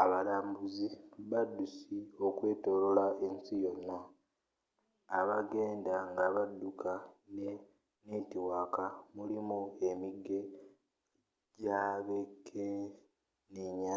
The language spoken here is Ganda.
abalambuzi babaddusi okwetoolola ensi yonna aba genda ngabadduka ne netiwaaka mulimu emige gyabekenenya